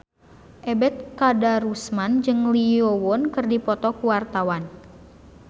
Ebet Kadarusman jeung Lee Yo Won keur dipoto ku wartawan